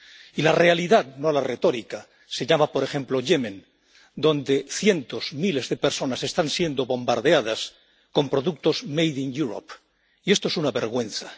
Y la realidad —no la retórica— se llama, por ejemplo, Yemen, donde cientos, miles de personas están siendo bombardeadas con productos made in Europe y esto es una vergüenza.